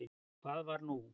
En hvað var nú?